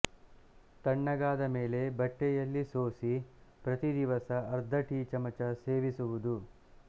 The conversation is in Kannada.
ತಣ್ಣಗಾದ ಮೇಲೆ ಬಟ್ಟೆಯಲ್ಲಿ ಸೋಸಿ ಪ್ರತಿ ದಿವಸ ಅರ್ಧಟೀ ಚಮಚ ಸೇವಿಸುವುದು